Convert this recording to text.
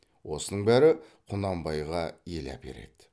осының бәрі құнанбайға ел әпереді